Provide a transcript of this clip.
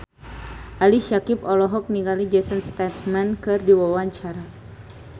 Ali Syakieb olohok ningali Jason Statham keur diwawancara